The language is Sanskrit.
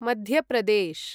मध्य प्रदेश्